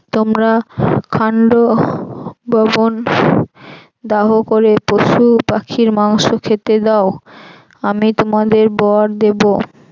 তোমরা খান্ডব বন দাহ করে পশু পাখির মাংস খেতে দাও আমি তোমাদের বর দেব।